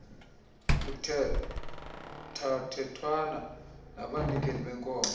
kuthethathethwana nabanikeli benkonzo